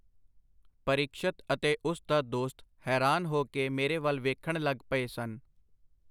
ਪਰੀਕਸ਼ਤ ਅਤੇ ਉਸ ਦਾ ਦੋਸਤ ਹੈਰਾਨ ਹੋ ਕੇ ਮੇਰੇ ਵਲ ਵੇਖਣ ਲਗ ਪਏ ਸਨ.